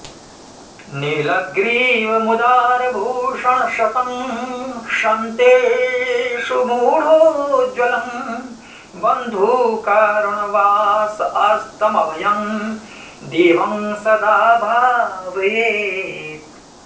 नीलग्रीवमुदारभूषणशतं शन्तेशु मूढोज्ज्वलं बन्धूकारुण वास अस्तमभयं देवं सदा भावयेत्